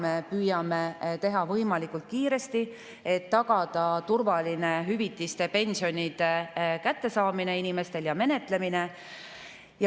Me püüame tegutseda võimalikult kiiresti, et tagada inimestele hüvitiste ja pensionide turvaline kättesaamine ja nende menetlemine.